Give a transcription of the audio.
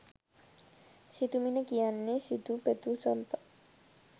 සිතුමිණ කියන්නේ සිතූ පැතූ සම්පත්